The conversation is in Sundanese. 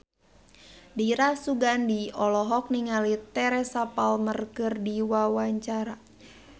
Dira Sugandi olohok ningali Teresa Palmer keur diwawancara